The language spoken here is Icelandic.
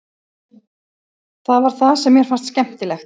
Það var það sem mér fannst skemmtilegt.